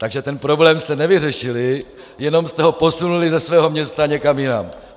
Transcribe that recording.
Takže ten problém jste nevyřešili, jenom jste ho posunuli ze svého města někam jinam.